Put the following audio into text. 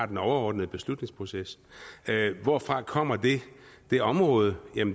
den overordnede beslutningsproces hvorfra kommer det det område